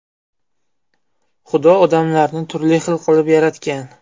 Xudo odamlarni turli xil qilib yaratgan.